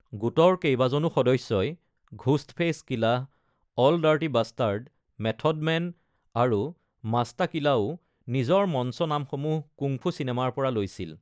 গোটৰ কেইবাজনো সদস্যই (Ghostface Killah, Ol'’ Dirty Bastard, Method Man আৰু মাষ্টা কিলা)ও নিজৰ মঞ্চ নামসমূহ কুংফু চিনেমাৰ পৰা লৈছিল।